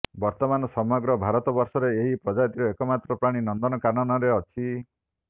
ବର୍ତ୍ତମାନ ସମଗ୍ର ଭାରତବର୍ଷରେ ଏହି ପ୍ରଜାତିର ଏକମାତ୍ର ପ୍ରାଣୀ ନନ୍ଦନକାନନରେ ଅଛି